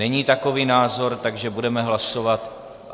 Není takový názor, takže budeme hlasovat.